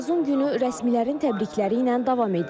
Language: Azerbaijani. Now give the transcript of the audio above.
Məzun günü rəsmilərin təbrikləri ilə davam edir.